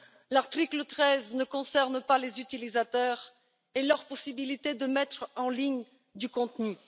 L'article 13 ne concerne pas les utilisateurs et leur possibilité de mettre en ligne du contenu